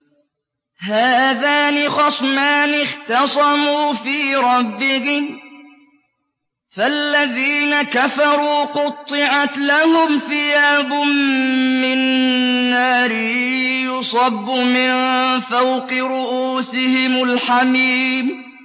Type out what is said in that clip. ۞ هَٰذَانِ خَصْمَانِ اخْتَصَمُوا فِي رَبِّهِمْ ۖ فَالَّذِينَ كَفَرُوا قُطِّعَتْ لَهُمْ ثِيَابٌ مِّن نَّارٍ يُصَبُّ مِن فَوْقِ رُءُوسِهِمُ الْحَمِيمُ